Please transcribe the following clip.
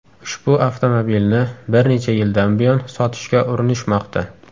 Ushbu avtomobilni bir necha yildan buyon sotishga urinishmoqda.